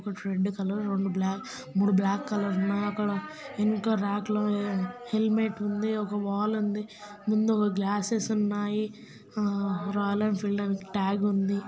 రెండు కలర్ రెండు బ్లా మూడు బ్లాకు కలర్ ఉన్నాయి. అక్కడ ఎనక రాక్ లో హెల్మెట్ ఉంది. ఒక వాల్ ఉంది. ముందు ఒక గ్లాసెస్ ఉన్నాయి. హ రాయల్ ఎనఫిల్ద్ అని టాగ్ ఉంది.